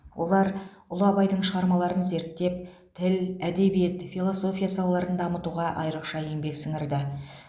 олар ұлы абайдың шығармаларын зерттеп тіл әдебиет философия салаларын дамытуға айрықша еңбек сіңірді